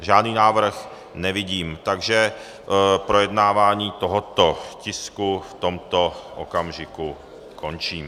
Žádný návrh nevidím, takže projednávání tohoto tisku v tomto okamžiku končím.